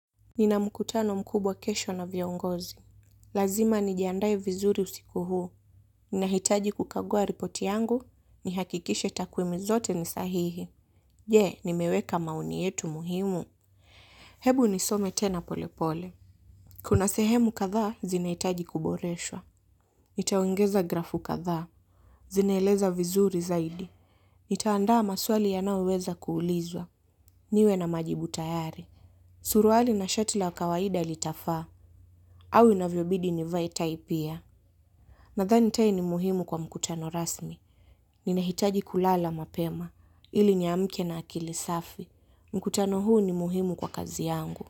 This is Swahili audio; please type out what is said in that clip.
Nina mkutano mkubwa kesho na viongozi. Lazima nijiandaye vizuri usiku huu. Ninahitaji kukagua ripoti yangu. Ni hakikishe takwimi zote nisahihi. Je, nimeweka maoni yetu muhimu. Hebu nisome tena polepole. Kuna sehemu kadha, zinaitaji kuboreshwa. Nitaongeza grafu kasdha. Zinaeleza vizuri zaidi. Nitaandaa maswali yanaoweza kuulizwa. Niwe na majibu tayari. Suruali na shati la kawaida ilitafa. Au inavyo bidi nivae tai pia. Nathani tae ni muhimu kwa mkutano rasmi. Nina hitaji kulala mapema. Ili niamke na akili safi. Mkutano huu ni muhimu kwa kazi yangu.